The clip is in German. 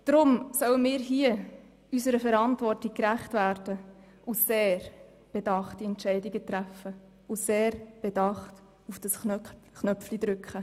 Darum sollten wir unserer Verantwortung gerecht werden, indem wir sehr bedachte Entscheidungen treffen und sehr bedacht auf den Abstimmungsknopf drücken.